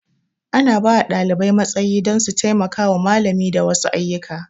Ana bawa ɗalibai matsayi don su taimaka wa malami da wasu ayyuka